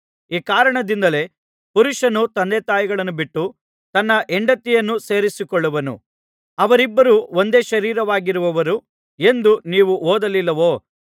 ಈ ಕಾರಣದಿಂದಲೇ ಪುರುಷನು ತಂದೆತಾಯಿಗಳನ್ನು ಬಿಟ್ಟು ತನ್ನ ಹೆಂಡತಿಯನ್ನು ಸೇರಿಕೊಳ್ಳುವನು ಅವರಿಬ್ಬರು ಒಂದೇ ಶರೀರವಾಗಿರುವರು ಎಂದು ನೀವು ಓದಲಿಲ್ಲವೋ